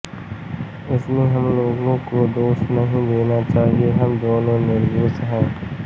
इसमें हम लोगों को दोष नही देना चाहिए हम दोनों निर्दोष हैं